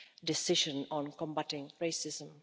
Decision on Combating Racism.